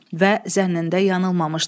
Və zənnində yanılmamışdı.